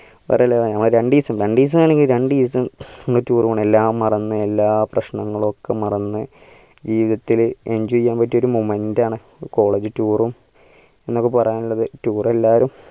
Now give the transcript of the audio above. രണ്ടീസം രണ്ടീസം ആണെങ്കിൽ രണ്ടീസം ഒന്ന് tour പോണം എല്ലാം മറന്നു എല്ലാ പ്രശ്‌നങ്ങളൊക്കെ മറന്നു ജീവിതത്തില് enjoy ചെയ്യാൻ പറ്റിയ ഒരു momentum ആണ് college tour ഉം എന്നെനിക്ക് പറയാനുള്ളത്